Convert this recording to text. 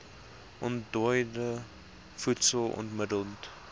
ontdooide voedsel onmidddelik